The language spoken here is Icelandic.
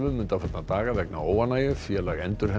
undanfarna daga vegna óánægju félag